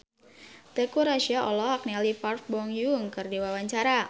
Teuku Rassya olohok ningali Park Bo Yung keur diwawancara